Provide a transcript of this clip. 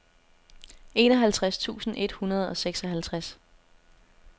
enoghalvtreds tusind et hundrede og seksoghalvtreds